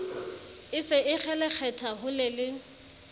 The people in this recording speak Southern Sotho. e se e kgelekgetha holele